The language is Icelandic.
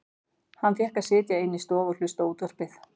Hann fékk að sitja inni í stofu og hlusta á útvarpið.